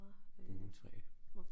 Brunt træ